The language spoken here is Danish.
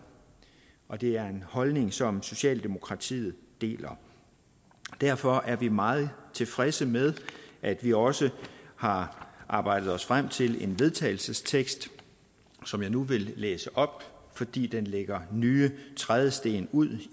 og det er en holdning som socialdemokratiet deler derfor er vi meget tilfredse med at vi også har arbejdet os frem til en vedtagelsestekst som jeg nu vil læse op fordi den lægger nye trædesten ud